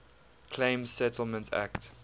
claims settlement act